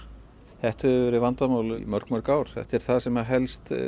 þetta hefur verið vandamál í mörg mörg ár þetta er það sem helst